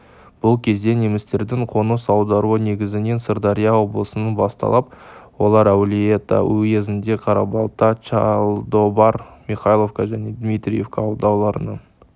бұл кезде немістердің қоныс аударуы негізінен сырдария облысынан басталып олар әулиеата уезінде қарабалта чалдобар михайловка және дмитриеека ауылдарын